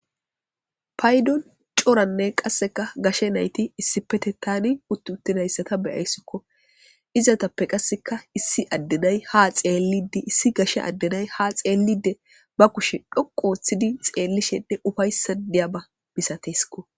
paydon coranne qasseka gashe nayti issipete tani utt uttinayssata beyayssikko izatappe qasseka issi addenay ha xeellidi issi gashe addenay ha xeellide ba kushe dhoqu ooththidi xeellishede ufaysadiyaba misateskko